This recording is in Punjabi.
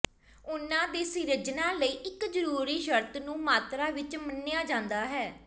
ਉਨ੍ਹਾਂ ਦੀ ਸਿਰਜਣਾ ਲਈ ਇੱਕ ਜ਼ਰੂਰੀ ਸ਼ਰਤ ਨੂੰ ਮਾਤਰਾ ਵਿੱਚ ਮੰਨਿਆ ਜਾਂਦਾ ਹੈ